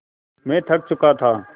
मैं थक चुका था